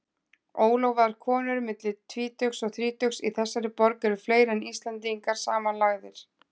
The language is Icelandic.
Ólofaðar konur milli tvítugs og þrítugs í þessari borg eru fleiri en Íslendingar samanlagðir.